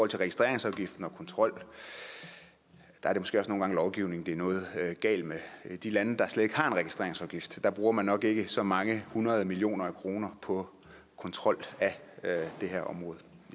til registreringsafgiften og kontrollen er det måske også nogle gange lovgivningen er noget galt med i de lande der slet ikke har en registreringsafgift bruger man nok ikke så mange hundrede millioner af kroner på kontrol af det her område